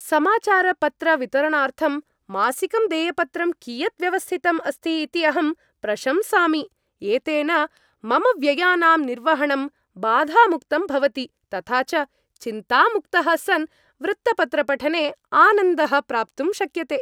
समाचारपत्रवितरणार्थं मासिकं देयपत्रं कियत् व्यवस्थितम् अस्ति इति अहं प्रशंसामि, एतेन मम व्ययानां निर्वहणं बाधामुक्तं भवति तथा च चिन्तामुक्तः सन् वृत्तपत्रपठने आनन्दः प्राप्तुं शक्यते।